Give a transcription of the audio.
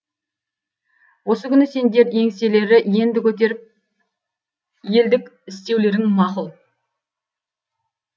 осы күні сендер еңселері енді көтеріп елдік істеулерің мақұл